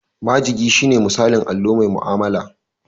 Majigi shine misalin allo mai mu'amala.